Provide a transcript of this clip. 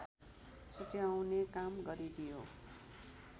छुट्ट्याउने काम गरिदियो